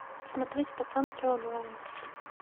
смотреть пацанки онлайн